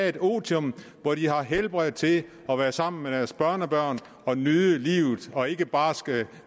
et otium hvor de har helbred til at være sammen med deres børnebørn og nyde livet og ikke bare skal